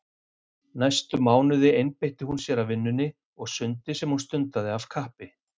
Næstu mánuði einbeitti hún sér að vinnunni og sundi sem hún stundaði af kappi.